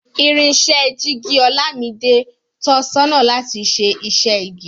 Irinṣẹ́ jíìgì Olámidé ń tọ sọ́nà láti ṣe iṣẹ́ igi